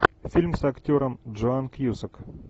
фильм с актером джоан кьюсак